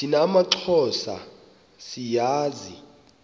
thina maxhosa siyazi